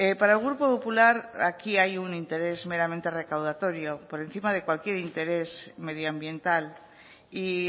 para el grupo popular aquí hay un interés meramente recaudatorio por encima de cualquier interés medioambiental y